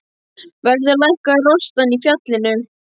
Verður að lækka rostann í fjallinu.